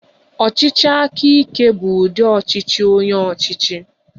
Ọchịchị aka ike bụ ụdi ọchịchị onye ọchịchị